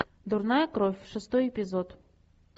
дурная кровь шестой эпизод